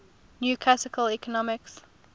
new classical economics